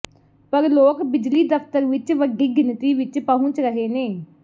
ਪਰ ਲੋਕ ਬਿਜਲੀ ਦਫ਼ਤਰ ਵਿੱਚ ਵੱਡੀ ਗਿਣਤੀ ਵਿੱਚ ਪਹੁਚ ਰਹੇ ਨੇ